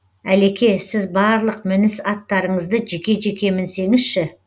әлеке сіз барлық мініс аттарыңызды жеке жеке мінсеңізші